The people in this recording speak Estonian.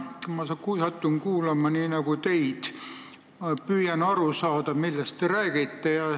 Kui mina vana mehena satun kuulama näiteks teid, siis ma püüan aru saada, millest te räägite.